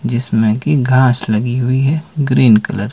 जिसमें कि घास लगी हुई है ग्रीन कलर ।